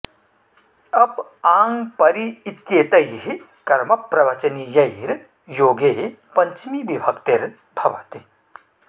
अप आङ् परि इत्येतैः कर्मप्रवचनीयैर् योगे पज्चमी विभक्तिर् भवति